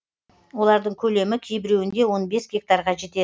олардың көлемі кейбіреуінде он бес гектарға жетеді